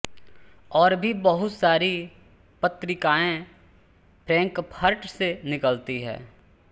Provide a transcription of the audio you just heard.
और भी बहुत सारी पत्रिकाएं फ्रैंकफर्ट से निकलती हैं